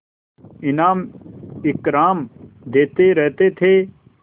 इनाम इकराम देते रहते थे